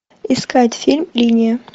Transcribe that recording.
искать фильм линия